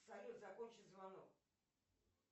салют закончи звонок